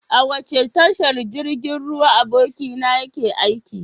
A wace tashar jirgin ruwa abokinka yake aiki?